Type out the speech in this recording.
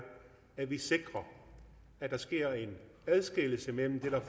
at vi sikrer at der sker en adskillelse mellem det der